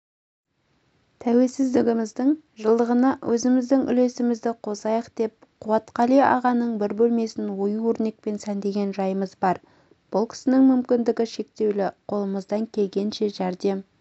тәуелсіздігіміздің жылдығына өзіміздің үлесімізді қосайық деп қуатқали ағаның бір бөлмесін ою-өрнекпен сәндеген жайымыз бар бұл кісінің мүмкіндігі шектеулі қолымыздан келгенше жәрдем